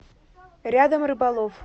рядом рыболов